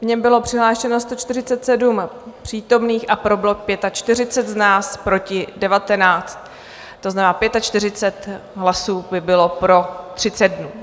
V něm bylo přihlášeno 147 přítomných, pro bylo 45 z nás, proti 19, to znamená 45 hlasů by bylo pro 30 dnů.